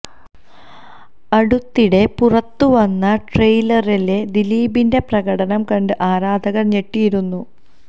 അടുത്തിടെ പുറത്ത് വന്ന ട്രെയിലറിലെ ദിലീപിന്റെ പ്രകടനം കണ്ട് ആരാധകര് ഞെട്ടിയിരുന്നു